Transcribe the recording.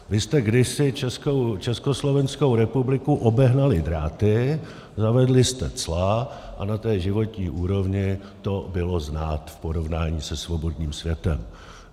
Vy jste kdysi Československou republiku obehnali dráty, zavedli jste cla a na té životní úrovni to bylo znát v porovnání se svobodným světem.